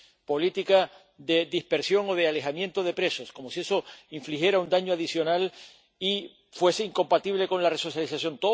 política de dispersión o de alejamiento de presos—, como si eso infligiera un daño adicional y fuese incompatible con la resocialización.